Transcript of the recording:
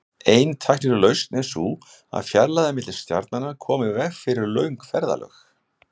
Ein tæknileg lausn er sú að fjarlægðir milli stjarnanna komi í veg fyrir löng ferðalög.